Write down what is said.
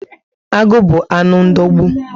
Agụ bu anụ ndogbu